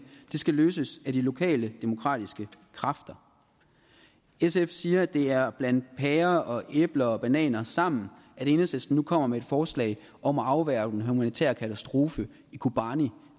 det skal løses af de lokale demokratiske kræfter sf siger at det er at blande pærer æbler og bananer sammen at enhedslisten nu kommer med et forslag om at afværge den humanitære katastrofe i kobani